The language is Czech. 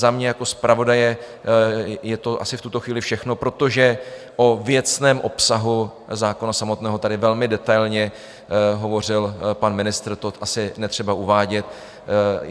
Za mě jako zpravodaje je to asi v tuto chvíli všechno, protože o věcném obsahu zákona samotného tady velmi detailně hovořil pan ministr, to asi netřeba uvádět.